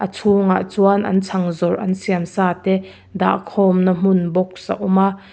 chhungah chuan an chhang zawrh an siam sa te dah khawmna hmun box a awm a.